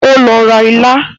O lọ ra ilá